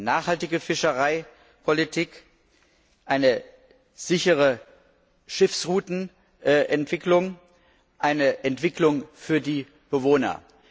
nachhaltige Fischereipolitik, eine sichere Schiffsroutenentwicklung, eine Entwicklung für die Bewohner.